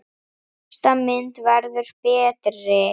Næsta mynd verður betri!